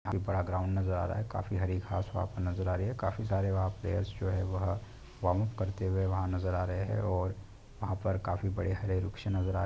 काफी बड़ा ग्राउंड नज़र आ रहा है काफी हरे घास वहा पे नज़र आ रही है काफी सारे वहा पे प्लेयर्स जो है वह वॉमअप करते हुए वहा नज़र आ रहे है और वहा पर काफी बड़े हरे वृक्ष नज़र आ --